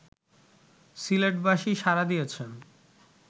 সিলেটবাসী সাড়া দিয়েছেন